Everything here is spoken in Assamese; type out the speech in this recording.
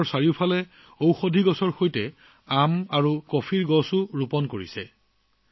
ঔষধি উদ্ভিদৰ উপৰিও তেওঁ ঘৰৰ আশেপাশে আম আৰু কফি গছ ৰোপণ কৰিছিল